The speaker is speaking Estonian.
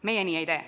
Meie nii ei tee.